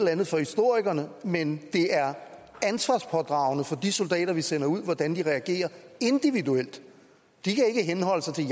andet for historikerne men det er ansvarspådragende for de soldater vi sender ud hvordan de reagerer individuelt de kan ikke henholde sig til